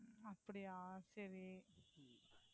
அப்படியா, சரி.